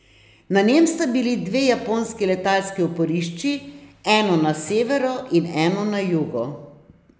Na njem sta bili dve japonski letalski oporišči, eno na severu in eno na jugu.